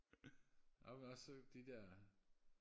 amen også de der